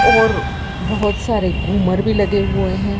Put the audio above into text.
बहुत सारे झूमर भी लगे हुए हैं।